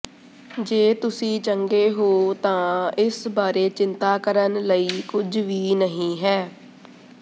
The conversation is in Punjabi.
ਜੇ ਤੁਸੀਂ ਚੰਗੇ ਹੋ ਗਏ ਤਾਂ ਇਸ ਬਾਰੇ ਚਿੰਤਾ ਕਰਨ ਲਈ ਕੁਝ ਵੀ ਨਹੀਂ ਹੈ